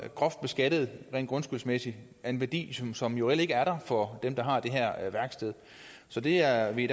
så groft beskattet rent grundskyldsmæssigt af en værdi som som jo reelt ikke er der for dem der har det her værksted så vi er i